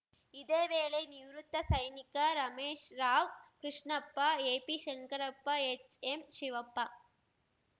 ಇದೇ ವೇಳೆ ನಿವೃತ್ತ ಸೈನಿಕ ರಮೇಶ್ ರಾವ್‌ ಕೃಷ್ಣಪ್ಪ ಎಪಿಶಂಕ್ರಪ್ಪ ಎಚ್‌ಎಂಶಿವಪ್ಪ